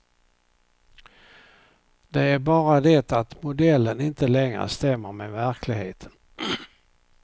Det är bara det att modellen inte längre stämmer med verkligheten.